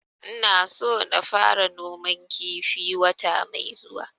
Ina so na fara noman kifi wata mai zuwa